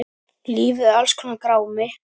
Lífið er alls konar grámi.